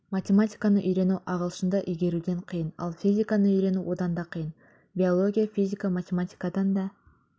математиканы үйрену ағылшынды игеруден қиын ал физиканы үйрену одан да қиын биология физика математикадан да